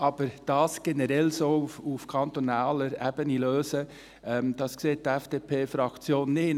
Aber dies generell auf kantonaler Ebene zu lösen, sieht die FDP-Fraktion nicht.